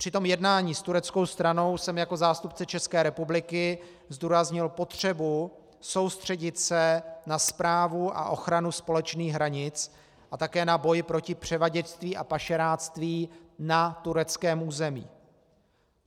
Při tom jednání s tureckou stranou jsem jako zástupce České republiky zdůraznil potřebu soustředit se na správu a ochranu společných hranic a také na boj proti převaděčství a pašeráctví na tureckém území.